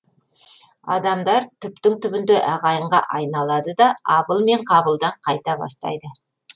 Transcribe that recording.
адамдар түптің түбінде ағайынға айналады да абыл мен қабылдан қайта бастайды